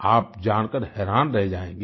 आप जानकर हैरान रह जाएंगे